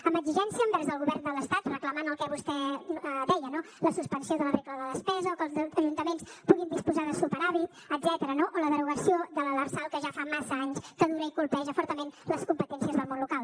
amb exigència envers el govern de l’estat reclamant el que vostè deia no la suspensió de la regla de despesa o que els ajuntaments puguin disposar de superàvit etcètera o la derogació de l’lrsal que ja fa massa anys que dura i colpeja fortament les competències del món local